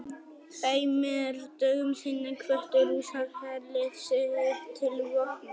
Tveimur dögum seinna kvöddu Rússar herlið sitt til vopna.